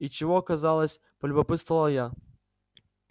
и чего казалось полюбопытствовала я